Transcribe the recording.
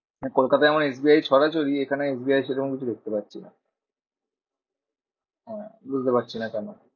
কলকাতায় S B I এর ছড়াছড়ি এখানে এস বি আই এর সেরকম কিছু দেখতে পারছি না। হ্যাঁ বুঝতে পারছি না কেন?